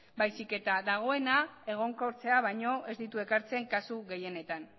baizik eta dagoena egonkortzea baino ez ditu ekartzen kasu gehienetan